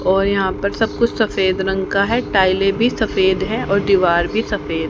और यहां पर सब कुछ सफेद रंग का है टाइलें भी सफेद हैं और दीवार भी सफेद--